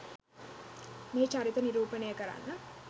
මෙහි චරිත නිරූපණය කරන්න